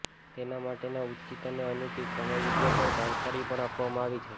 તેના માટેના ઉચિત અને અનુચિત સમય વિશે પણ જાણકારી પણ આપવામાં આવી છે